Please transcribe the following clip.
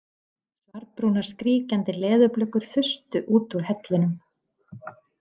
Svarbrúnar skríkjandi leðurblökur þustu út úr hellinum.